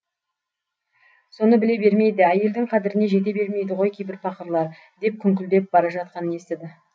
соны біле бермейді әйелдің қадіріне жете бермейді ғой кейбір пақырлар деп күңкілдеп бара жатқанын естіді